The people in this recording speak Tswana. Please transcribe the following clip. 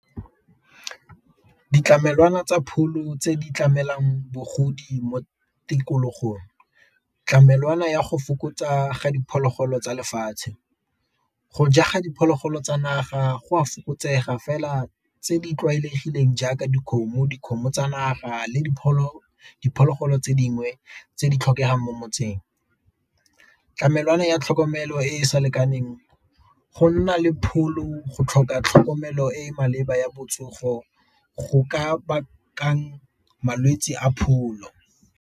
Ditlamelwana tsa pholo tse di tlamelwang mo tikologong, ditlamelwana ya go fokotsa ga diphologolo tsa lefatshe, go ja ga diphologolo tsa naga go a fokotsega fela tse di tlwaelegileng jaaka dikgomo, dikgomo tsa naga le diphologolo tse dingwe tse di tlhokegang mo motseng. Tlamelwana ya tlhokomelo e e sa lekaneng go nna le pholo go tlhoka tlhokomelo e e maleba ya botsogo go ka bakang malwetsi a pholo.